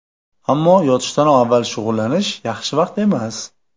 Ammo yotishdan avval shug‘ullanish yaxshi vaqt emas.